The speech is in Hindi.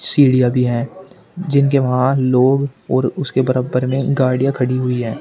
सीढ़ियां भी है जिनके वहां लोग और उसके बराबर में गाड़ियां खड़ी हुई है।